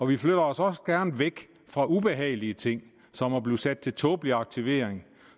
vi flytter os også gerne væk fra ubehagelige ting som at blive sat til tåbelig aktivering